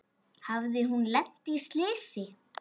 Hafði hún lent í slysi?